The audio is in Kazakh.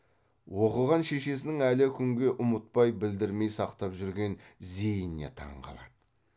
оқыған шешесінің әлі күнге ұмытпай білдірмей сақтап жүрген зейініне таң қалады